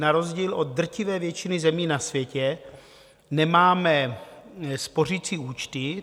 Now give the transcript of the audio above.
Na rozdíl od drtivé většiny zemí na světě nemáme spořicí účty.